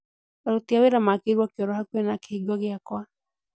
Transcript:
Aruti a wĩra makĩirwo kĩoro hakuhĩ na kĩhingo giakwa